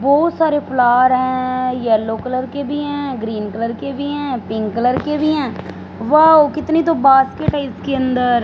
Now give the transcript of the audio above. बहोत सारे फ्लावर हैं येलो कलर के भी हैं ग्रीन कलर के भी है पिंक कलर के भी हैं वाव कितने तो बास्केट है इसकी अंदर।